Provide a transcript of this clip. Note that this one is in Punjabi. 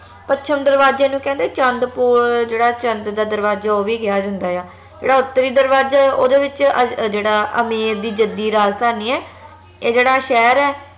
ਪੱਛਮ ਦਰਵਾਜੇ ਨੂੰ ਕਹਿੰਦੇ ਚੰਦ ਪੋਲ ਜੇਹੜਾ ਚੰਦ ਦਾ ਦਰਵਾਜਾ ਉਹ ਵੀ ਕਿਹਾ ਜਾਂਦਾ ਆ ਜੇਹੜਾ ਉੱਤਰੀ ਦਰਵਾਜਾ ਹੈ ਓਹਦੇ ਵਿਚ ਅਹ ਜੇਹੜਾ ਅਮੇਰ ਦੀ ਜੱਦੀ ਰਾਜਧਾਨੀ ਏਹ ਜੇਹੜਾ ਸ਼ਹਿਰ ਏ